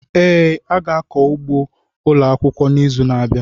Ee, a ga-akọ ugbo ụlọ akwụkwọ n'izu na-abịa.